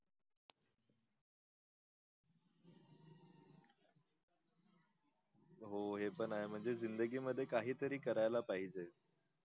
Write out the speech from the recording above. हो हे पण आहे म्हणजे जिंदगी मध्ये काही तरी करायला पाहिजे